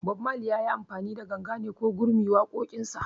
Bob Mali yayi amfani da ganga ne ko gurmi waƙoƙin sa?